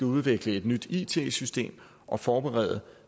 udvikle et nyt it system og forberede